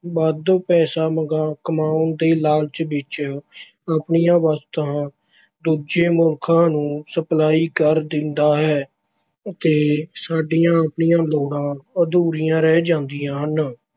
ਵੱਧ ਪੈਸਾ ਮੰਗਾ ਕਮਾਉਣ ਦੇ ਲਾਲਚ ਵਿੱਚ ਆਪਣੀਆਂ ਵਸਤਾਂ ਦੂਜੇ ਮੁਲਕਾਂ ਨੂੰ ਸਪਲਾਈ ਕਰ ਦਿੰਦਾ ਹੈ ਤੇ ਸਾਡੀਆਂ ਆਪਣੀਆਂ ਲੋੜਾਂ ਅਧੂਰੀਆਂ ਰਹਿ ਜਾਂਦੀਆਂ ਹਨ।